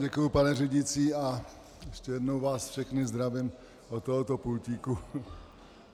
Děkuji, pane řídící, a ještě jednou vás všechny zdravím od tohoto pultíku.